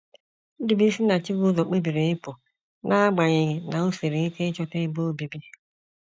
Ndubuisi na Chibuzor kpebiri ịpụ, n’agbanyeghị na o siri ike ịchọta ebe obibi.